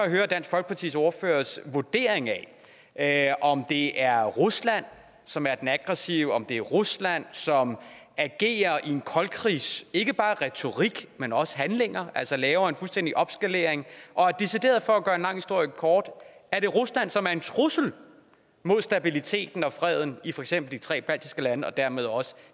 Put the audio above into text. at høre dansk folkepartis ordførers vurdering af af om det er rusland som er den aggressive om det er rusland som agerer i en koldkrigs ikke bare retorik men også handlinger altså laver en fuldstændig opskalering og for at gøre en lang historie kort er det rusland som er en decideret trussel mod stabiliteten og freden i for eksempel de tre baltiske lande og dermed også